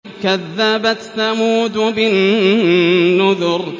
كَذَّبَتْ ثَمُودُ بِالنُّذُرِ